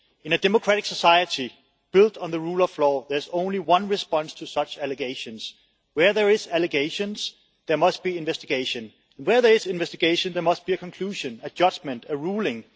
In a democratic society built on the rule of law there is only one response to such allegations where there are allegations, there must be investigation and, where there is investigation, there must be a conclusion, a judgement and a ruling.